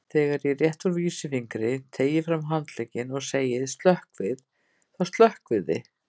Þegar ég rétti úr vísifingri, teygi fram handlegginn og segi: stökkvið, þá stökkvið þið.